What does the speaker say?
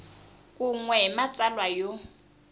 kun we ni matsalwa yo